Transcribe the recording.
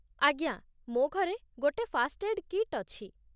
ଆଜ୍ଞା, ମୋ' ଘରେ ଗୋଟେ ଫାର୍ଷ୍ଟଏଡ୍ କିଟ୍ ଅଛି ।